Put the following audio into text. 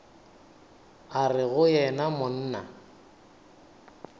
a re go yena monna